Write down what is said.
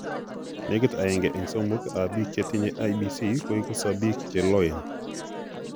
Nekit aeng'e eng' somok ab biik chetinye IBC koiko sobiik cheloeen